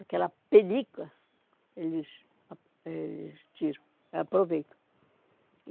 Aquela pelica, eles ah eh eles tiram, aproveitam.